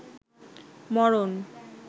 মরন